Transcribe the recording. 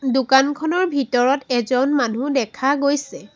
দোকানখনৰ ভিতৰত এজন মানুহ দেখা গৈছে।